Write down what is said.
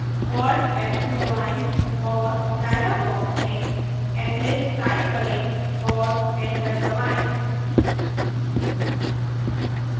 alt f2 दबाएं और dialog box में eclipse type करें और enter दबाएं